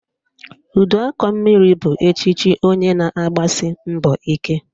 Uduakọmmiri bụ echiche onye na-agbasi mbọ ike